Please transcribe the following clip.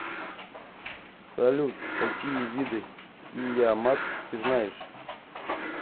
салют какие виды киямат ты знаешь